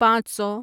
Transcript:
پانچ سو